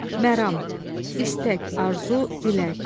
Məram, istək, arzu, dilək.